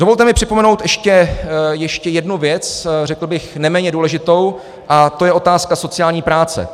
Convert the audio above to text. Dovolte mi připomenout ještě jednu věc, řekl bych neméně důležitou, a to je otázka sociální práce.